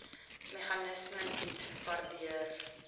meganisme bied waardeur